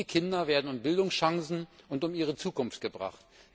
Diese Kinder werden um Bildungschancen und um ihre Zukunft gebracht.